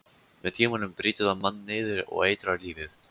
Með tímanum brýtur það mann niður og eitrar lífið.